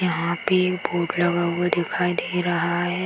यहाँ पे एक बोर्ड लगा हुआ दिखाई दे रहा है।